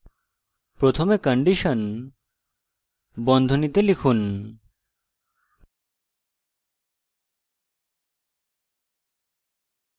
প্রথমে condition বন্ধনীতে লিখুন